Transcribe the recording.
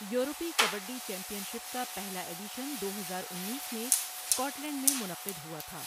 یورپی kabaddi championship کا پہلا ایڈیشن دو ہزار اُنیس میں اسکاٹ لینڈ میں منعقد ہوا تھا۔